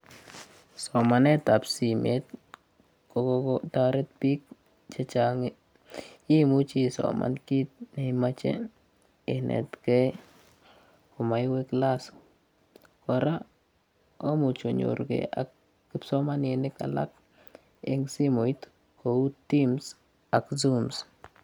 Somanetab simeet kogotaret biik chechang'. Imuchi isoman kiit neimonye inetgei amewe class. Kora komuch onyorugei ak kipsomaninik alak eng' simooit kou Tims ak Zooms.